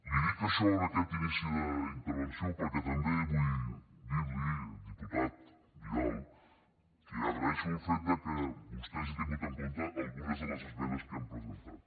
li dic això en aquest inici d’intervenció perquè també vull dir li diputat vidal que agraeixo el fet que vostè hagi tingut en compte algunes de les esmenes que hem presentat